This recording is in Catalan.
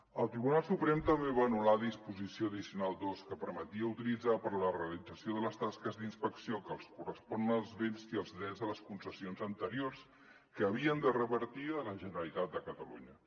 el tribunal suprem també va anul·lar la disposició addicional segona que permetia utilitzar per a la realització de les tasques d’inspecció que els correspon els béns i els drets de les concessions anteriors que havien de revertir a la generalitat de catalunya